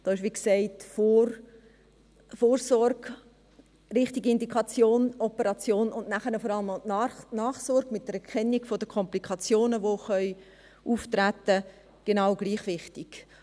Aber, wie gesagt, Vorsorge, richtige Indikation, Operation und nachher vor allem auch die Nachsorge mit einer Kennung der Komplikationen, die auftreten können, dies ist genau gleich wichtig.